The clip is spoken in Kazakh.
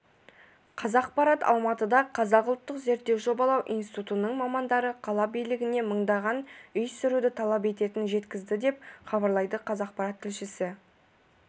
қазақпарат алматыда қазақ ұлттық зерттеу жобалау институтының мамандары қала билігіне мыңдаған үй сүруді талап ететінін жеткізді деп хабарлайды қазақпарат тілшісі